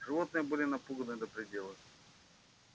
животные были напуганы до предела